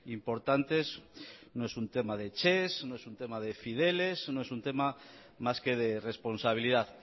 importantes no es un tema de ches no es un tema de fideles no es un tema más que de responsabilidad